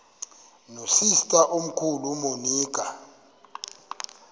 nosister omkhulu umonica